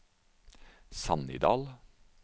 Sannidal